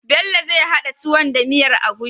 Bell zai hada tuwon da miyar agushi